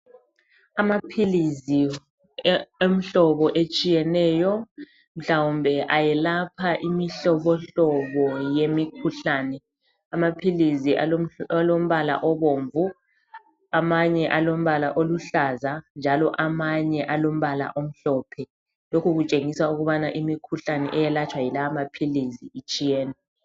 Amaphilizi omhlobo otshiyeneyo mhlawumbe ayelapha imihlobohlobo yemikhuhlane, amaphiliizi alombala obomvu amanye alombala oluhlaza njalo amanye alombala omhlophe lokhu kutshengisa ukuba imkhuhlane eyelatshwa yilawa amaphilizi itshiyene.